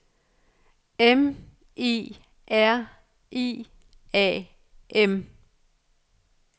M I R I A M